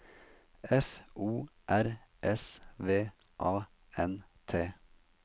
F O R S V A N T